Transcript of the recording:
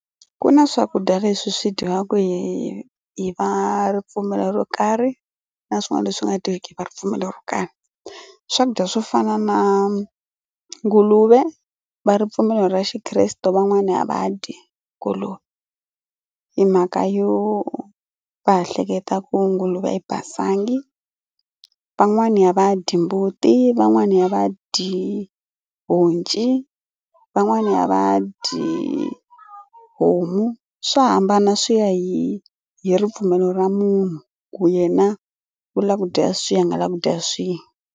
Ku na swakudya leswi swi dyiwaka hi hi va ripfumelo ro karhi na swin'wana leswi nga dyiweki hi va ripfumelo ro karhi. Swakudya swo fana na nguluve va ripfumelo ra xikreste van'wana a va dyi nguluve hi mhaka yo va ha hleketa ku nguluve a yi basangi. Van'wani a va dyi mbuti, van'wani a va dyi honci, van'wana a va dyi homu swa hambana swi ya hi hi ripfumelo ra munhu ku yena u lava ku dya swihi a nga lavi ku dya swihi.